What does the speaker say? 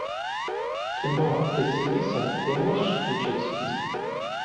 кино василиса ты можешь включить